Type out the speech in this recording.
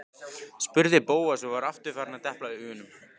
spurði Bóas og var aftur farinn að depla augunum.